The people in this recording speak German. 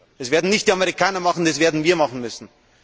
Das werden nicht die Amerikaner tun, das werden wir machen müssen.